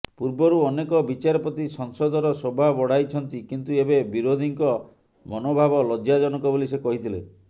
ପୂର୍ବରୁ ଅନେକ ବିଚାରପତି ସଂସଦର ଶୋଭା ବଢାଇଛନ୍ତି କିନ୍ତୁ ଏବେ ବିରୋଧୀଙ୍କ ମନୋଭାବ ଲଜ୍ଜାଜନକ ବୋଲି ସେ କହିଥିଲେ